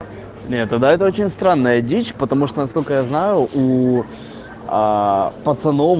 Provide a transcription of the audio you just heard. нет да это очень странная дичь потому что насколько я знаю у пацаном